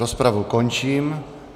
Rozpravu končím.